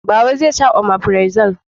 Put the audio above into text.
Baba zai sha omefirazo